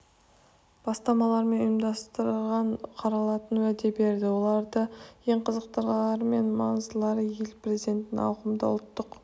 бастамалар мен ұсыныстар қаралатынына уәде берді олардың ең қызықтылары мен маңыздылары ел президентінің ауқымды ұлттық